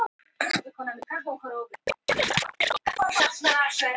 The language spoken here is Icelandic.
Ófært er um Öxi